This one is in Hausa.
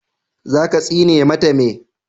za ka tsine mata me?